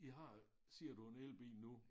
I har siger du en elbil nu